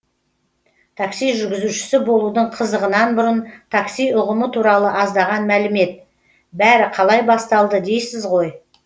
такси жүргізушісі болудың қызығынан бұрын такси ұғымы туралы аздаған мәлімет бәрі қалай басталды дейсіз ғой